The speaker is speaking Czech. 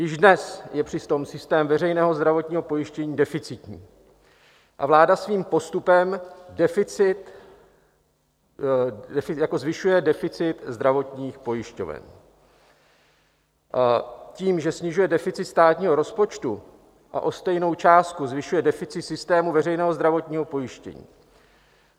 Již dnes je přitom systém veřejného zdravotního pojištění deficitní a vláda svým postupem zvyšuje deficit zdravotních pojišťoven tím, že snižuje deficit státního rozpočtu a o stejnou částku zvyšuje deficit systému veřejného zdravotního pojištění.